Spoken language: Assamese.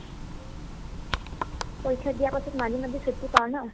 পৰীক্ষা দিয়াৰ পাছত মাজে মাজে ছুটি পাও ন